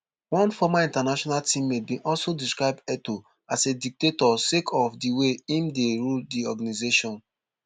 one former international teammate bin also describe etoo as a dictator sake of di way im dey rule di organisation